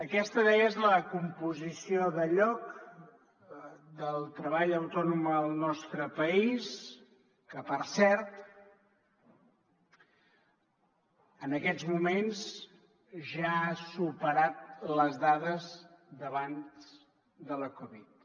aquesta deia és la composició de lloc del treball autònom al nostre país que per cert en aquests moments ja ha superat les dades d’abans de la covid